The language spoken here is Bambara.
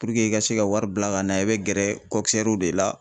i ka se ka wari bila ka na yan i bɛ gɛrɛ de la.